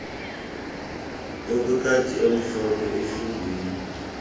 okwekati emhlophe ehlungwini